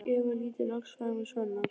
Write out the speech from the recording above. Eva lítur loks framan í Svenna.